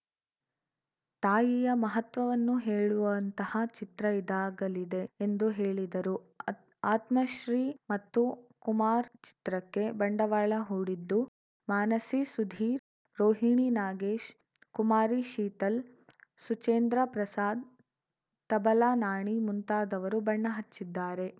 ತಾಯಿಯ ಮಹತ್ವವನ್ನು ಹೇಳುವಂತಹ ಚಿತ್ರ ಇದಾಗಲಿದೆ ಎಂದು ಹೇಳಿದರು ಆತ್ ಆತ್ಮಶ್ರೀ ಮತ್ತು ಕುಮಾರ್‌ ಚಿತ್ರಕ್ಕೆ ಬಂಡವಾಳ ಹೂಡಿದ್ದು ಮಾನಸಿ ಸುಧೀರ್‌ ರೋಹಿಣಿ ನಾಗೇಶ್‌ ಕುಮಾರಿ ಶೀತಲ್‌ ಸುಚೇಂದ್ರ ಪ್ರಸಾದ್‌ ತಬಲಾ ನಾಣಿ ಮುಂತಾದವರು ಬಣ್ಣ ಹಚ್ಚಿದ್ದಾರೆ